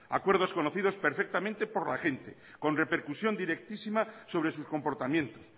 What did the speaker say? acuerdos conocidos perfectamente por la gente con repercusión directísima sobre sus comportamientos